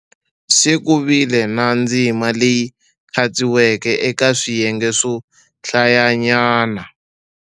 Se ku vile na ndzima leyi khatsiweke eka swiyenge swo hlayanyana.